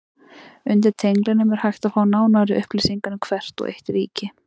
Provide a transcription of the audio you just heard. Undir tenglinum er hægt að fá nánari upplýsingar um hvert og eitt ríki.